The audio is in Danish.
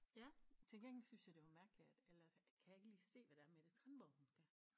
Ja til gengæld synes jeg det var mærkeligt at eller kan ikke lige se hvad det er Mette Tranborg hun skal